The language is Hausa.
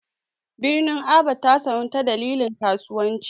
Birnin Aba ta sanu ta dalilin kasuwanci.